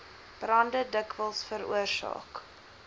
brande dikwels veroorsaak